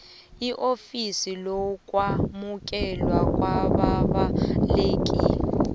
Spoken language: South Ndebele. eofisini lokwamukelwa kwababaleki